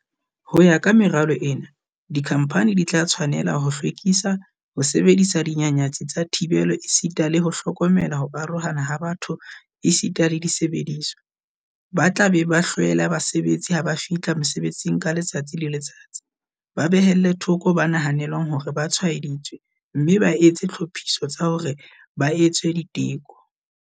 Ho ya ka meralo ena, dikhamphani di tla tshwane-la ho hlwekisa, ho sebedisa dinyanyatsi tsa thibelo esita le ho hlokomela ho arohana ha batho esita le disebediswa, ba tla be ba hlwele basebetsi ha ba fihla mosebetsing ka letsatsi le letsatsi, ba behelle thoko ba nahanelwang hore ba tshwaeditswe mme ba etse ditlhophiso tsa hore ba etswe diteko.